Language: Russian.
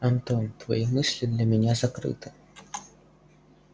антон твои мысли для меня закрыты